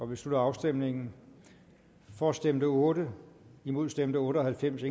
vi slutter afstemningen for stemte otte imod stemte otte og halvfems